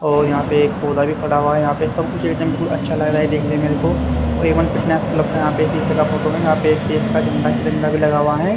और यहां पे एक पौधा भी खड़ा हुआ यहां पे सब कुछ बिलकुल अच्छा लग रहा है देखने मेरे को एवन फिटनेस क्लब का यहां पे शीशे का फोटो है यहां पे एक देश का झंडा तिरंगा भी लगा हुआ है।